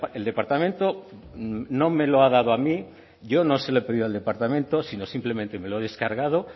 el departamento no me lo ha dado a mí yo no se lo he pedido al departamento sino simplemente me lo he descargado